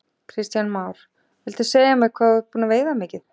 Kristján Már: Viltu segja mér hvað þú ert búinn að veiða mikið?